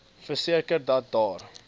verseker dat daar